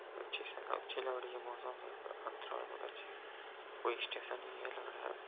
अच्छी से अच्छे लग रही है मौसम अंतराल बोहोत बहु अच्छे कोई स्टेशन ही है लग रहा है --